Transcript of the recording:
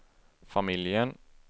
familjen